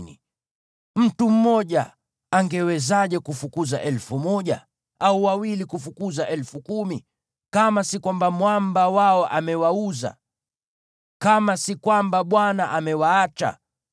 Mtu mmoja angewezaje kufukuza elfu moja, au wawili kufukuza elfu kumi, kama si kwamba Mwamba wao amewauza, kama si kwamba Bwana amewaacha?